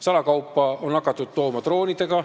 Salakaupa on hakatud tooma droonidega.